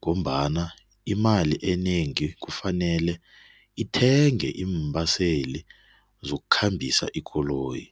ngombana imali enengi kufanele ithenge iimbaseli zokukhambisa ikoloyi.